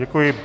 Děkuji.